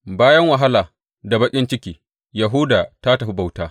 Bayan wahala da baƙin ciki, Yahuda ta tafi bauta.